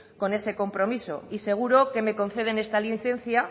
con ese compromiso y seguro que me conceden esta licencia